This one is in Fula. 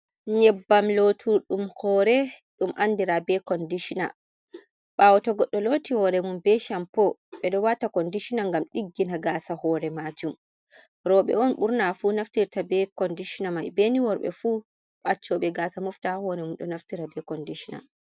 Nyebbam lootuɗum hoore ɗum andiraa be kondishina, ɓaawo to goɗɗo looti hoore mum be shampoo. Ɓe ɗo waata kondishina ngam ɗiggina gaasa hore majum. Rowɓe on ɓurna fu naftirta be kondishina mai, be ni worɓe fu accooɓe gaasa mofta haa hoore mum ɗo naftira be kondishina.